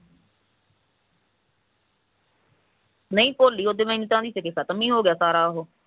ਨਹੀਂ ਭੋਲੀ ਉਹ ਮਿੰਟਾਂ ਦੀ ਸੀ ਖਤਮ ਹੋ ਗਿਆ ਸਾਰਾ ਉਹ